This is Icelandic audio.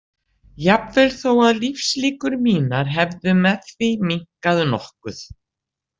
Jafnvel þó að lífslíkur mínar hefðu með því minnkað nokkuð.